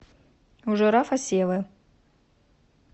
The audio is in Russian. у жирафа севы